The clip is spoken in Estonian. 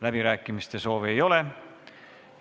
Läbirääkimiste soovi ei ole.